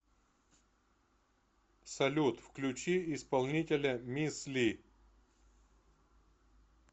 салют включи исполнителя мисс ли